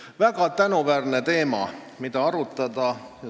See on väga tänuväärne teema, mida arutada.